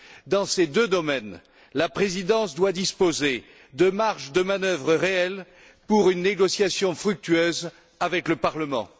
Dans ces deux domaines, la Présidence doit disposer de marges de manœuvre réelles pour mener une négociation fructueuse avec le Parlement.